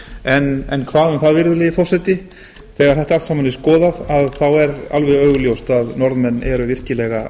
en hvað um það virðulegi forseti þegar þetta allt saman er skoðað er alveg augljóst að norðmenn eru virkilega